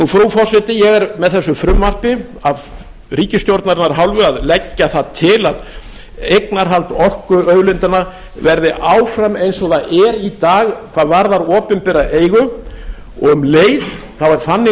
frú forseti ég er með þessu frumvarpi af ríkisstjórnarinnar hálfu að leggja það til að eignarhald orkuauðlindanna verði áfram eins og það er í dag hvað varðar opinbera eigu og um leið er þannig